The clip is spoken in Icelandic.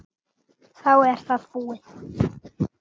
Þá er það búið.